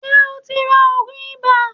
Ṣé ẹ ti ra òògùn ibà.